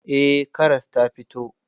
Eh, karas ta fito.